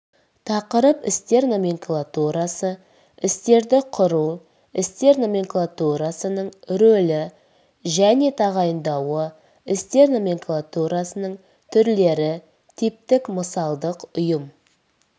тақырып істер номенклатурасы істерді құру істер номенклатурасының рөлі және тағайындауы істер номенклатурасының түрлері типтік мысалдық ұйым